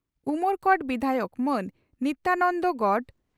ᱩᱢᱚᱨᱠᱚᱴ ᱵᱤᱫᱷᱟᱭᱚᱠ ᱢᱟᱹᱱ ᱱᱤᱛᱭᱟᱱᱚᱱᱫᱚ ᱜᱚᱱᱰ